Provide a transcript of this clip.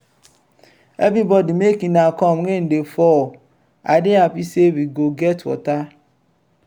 everybody make una come rain dey fall. i dey happy say we go get water.